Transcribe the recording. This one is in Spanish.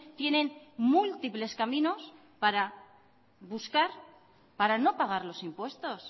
tienen múltiples caminos para buscar para no pagar los impuestos